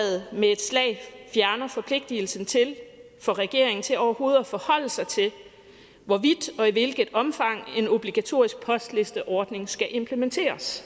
fjerner forpligtigelsen for regeringen til overhovedet at forholde sig til hvorvidt og i hvilket omfang en obligatorisk postlisteordning skal implementeres